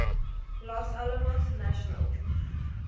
los alamos national